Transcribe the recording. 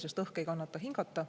Sealne õhk ei kannata hingata.